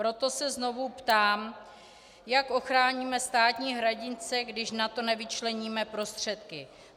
Proto se znovu ptám, jak ochráníme státní hranice, když na to nevyčleníme prostředky.